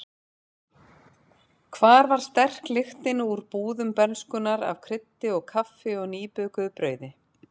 Hvar var sterk lyktin úr búðum bernskunnar af kryddi og kaffi og nýbökuðu brauði?